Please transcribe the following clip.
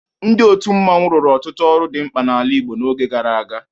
Ndị otu mmọnwụ rụrụ ọtụtụ ọrụ dị mkpa n'ala Igbo n'oge gara aga.